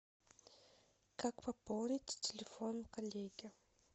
как пополнить телефон коллеги